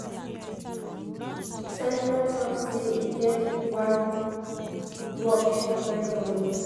Sandra talk say e get wan work she find for me.